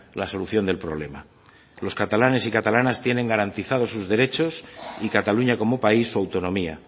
la solución del problema los catalanes y catalanas tienen garantizados sus derechos y cataluña como país su autonomía